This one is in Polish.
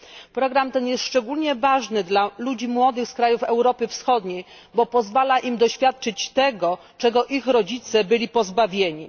Program ten jest szczególnie ważny dla ludzi młodych z krajów Europy Wschodniej, bo pozwala im doświadczyć tego, czego ich rodzice byli pozbawieni.